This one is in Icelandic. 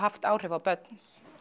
áhrif á börn